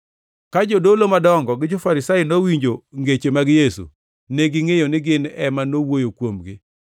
Ka jodolo madongo gi jo-Farisai nowinjo ngeche mag Yesu, negingʼeyo ni gin ema nowuoyo kuomgi.